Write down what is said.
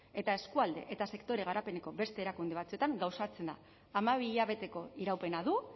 eta eskualde eta sektore garapeneko beste erakunde batzuetan gauzatzen da hamabi hilabeteko iraupena du